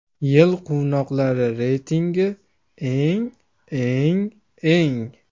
Yil qovunlari reytingi: Eng, eng, eng.